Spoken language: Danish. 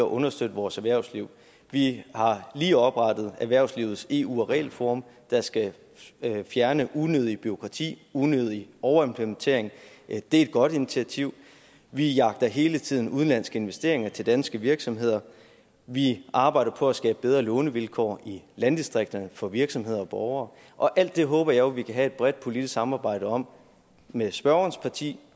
og understøtte vores erhvervsliv vi har lige oprettet erhvervslivets eu og regelforum der skal fjerne unødigt bureaukrati unødig overimplementering det er et godt initiativ vi jagter hele tiden udenlandske investeringer til danske virksomheder vi arbejder på at skabe bedre lånevilkår i landdistrikterne for virksomheder og borgere og alt det håber jeg jo vi kan have et bredt politisk samarbejde om med spørgerens parti